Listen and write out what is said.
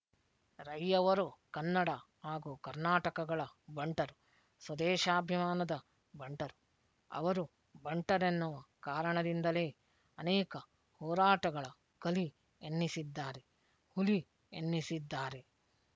ರೈಯವರು ಕನ್ನಡ ಹಾಗೂ ಕರ್ನಾಟಕಗಳ ಬಂಟರು ಸ್ವದೇಶಾಭಿಮಾನದ ಬಂಟರು ಅವರು ಬಂಟರೆನ್ನುವ ಕಾರಣದಿಂದಲೇ ಅನೇಕ ಹೋರಾಟಗಳ ಕಲಿ ಎನ್ನಿಸಿದ್ದಾರೆ ಹುಲಿ ಎನ್ನಿಸಿದ್ದಾರೆ